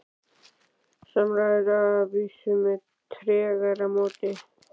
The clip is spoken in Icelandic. Samræður að vísu með tregara móti.